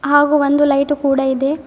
ಹಾಗು ಒಂದು ಲೈಟು ಕೂಡ ಇದೆ.